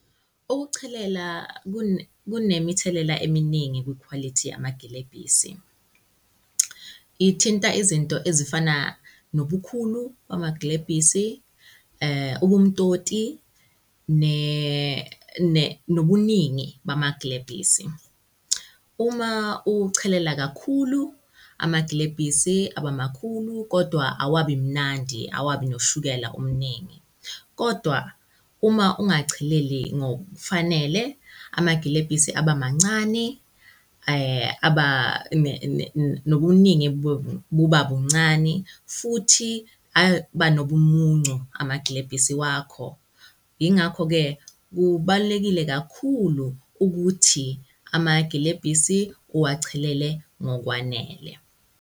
Ukuchelela kunemithelela eminingi kwikhwalithi yamagilebhisi. Ithinta izinto ezifana nobukhulu bamagilebhisi, ubumtoti nobuningi bamagilebhisi. Uma uchelela kakhulu, amagilebhisi aba makhulu kodwa awabi mnandi, awabi noshukela omningi. Kodwa uma ungacheleli ngokufanele, amagilebhisi aba mancani aba nobuningi buba buncani futhi aba nobumuncu amagilebhisi wakho. Yingakho-ke kubalulekile kakhulu ukuthi amagilebhisi uwachelele ngokwanele.